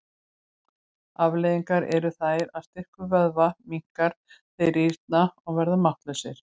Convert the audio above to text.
Afleiðingarnar eru þær að styrkur vöðva minnkar, þeir rýrna og verða máttlausir.